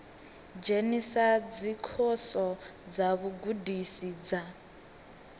dzhenisa dzikhoso dza vhugudisi dza